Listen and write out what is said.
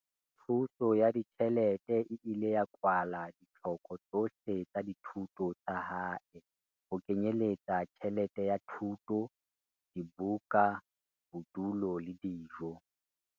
Thuso ya ditjhelete e ile ya kwala ditlhoko tsohle tsa dithuto tsa hae, ho kenyeletsa tjhelete ya thuto, dibuka, bodulo le dijo.